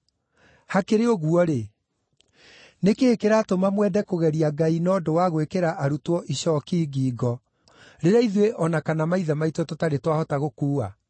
Hakĩrĩ ũguo-rĩ, nĩ kĩĩ kĩratũma mwende kũgeria Ngai na ũndũ wa gwĩkĩra arutwo icooki ngingo rĩrĩa ithuĩ o na kana maithe maitũ tũtarĩ twahota gũkuua?